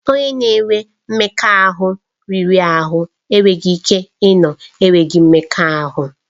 Onye na-enwe mmekọahụ riri ahụ enweghị ike ịnọ na-enweghị mmekọahụ.